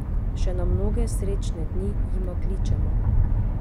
Še na mnoge srečne dni, jima kličemo!